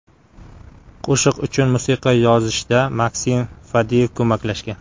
Qo‘shiq uchun musiqa yozishda Maksim Fadeyev ko‘maklashgan.